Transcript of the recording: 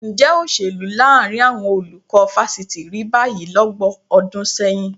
Ǹjẹ́ òṣèlú láàrin àwọn olùkọ́ fásitì rí báyìí lọ́gbọ̀n ọdún sẹ́yìn?